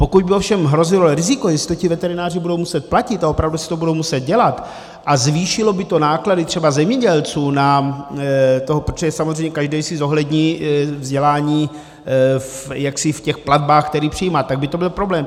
Pokud by ovšem hrozilo riziko, jestli ti veterináři budou muset platit a opravdu si to budou muset dělat, a zvýšilo by to náklady třeba zemědělců na to, protože samozřejmě každý si zohlední vzdělání jaksi v těch platbách, které přijímá, tak by to byl problém.